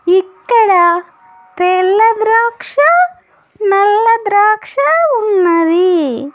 ఇక్కడ తెల్ల ద్రాక్ష నల్ల ద్రాక్ష ఉన్నవి.